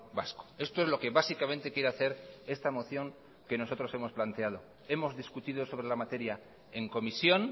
vasco esto es lo que básicamente quiere hacer esta moción que nosotros hemos planteado hemos discutido sobre la materia en comisión